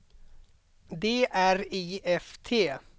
D R I F T